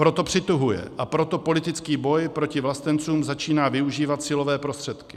Proto přituhuje a proto politický boj proti vlastencům začíná využívat silové prostředky.